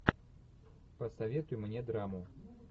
посоветуй мне драму